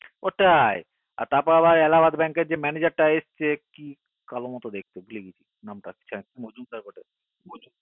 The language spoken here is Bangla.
ওটাই তারপর আবার Allahabad bank এর যে manager টা এসেছে কি কালো মতো দেখতে কি জানি নামটা মজুমদার বলে